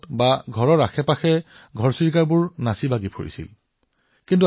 কৰবাত ইয়াক চকেলী কয় কৰবাত ইয়াক চিমনি কয় কৰবাত ঘৰচিৰিকা বুলি কোৱা হয়